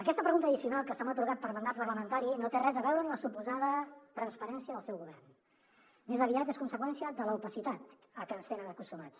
aquesta pregunta addicional que se m’ha atorgat per mandat reglamentari no té res a veure amb la suposada transparència del seu govern més aviat és conseqüència de l’opacitat a què ens tenen acostumats